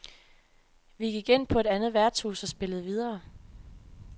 Vi gik ind på et andet værtshus og spillede videre.